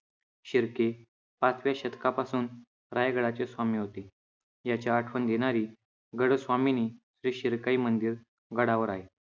शिर्के पाचव्या शतकापासून रायगडाचे स्वामी होते. याची आठवण देणारी गडस्वामिनी श्री शिरकाई मंदिर गडावर आहे.